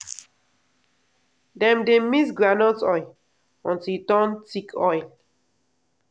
dem dey mix groundnut oil until e turn thick oil